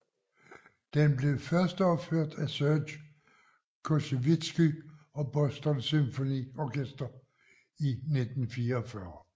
Den blev førsteopført af Serge Koussevitsky og Boston Symphony Orchestra i 1944